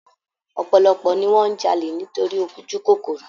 Ọ̀pọ̀lọpọ̀ ni wọn n jalè nítorí ojúkòkòrò